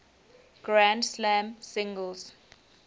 grand slam singles